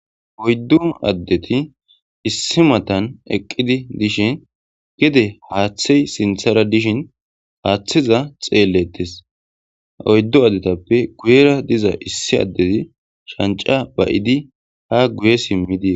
Oyddu addeti issi matan eqqidi dishin gede haaththey sinthara dishin haaththiza xeellettes oyddu addetappe guyera diza issi addezi shanca bayidi ha guye simmidi.